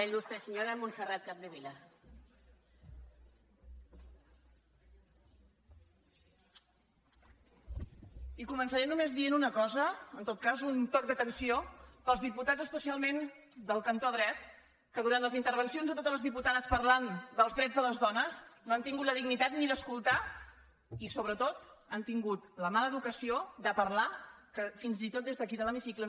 i començaré només dient una cosa en tot cas un toc d’atenció pels diputats especialment del cantó dret que durant les intervencions de totes les diputades parlant dels drets de les dones no han tingut la dignitat ni d’escoltar i sobretot han tingut la mala educació de parlar que fins i tot des d’aquí de l’hemicicle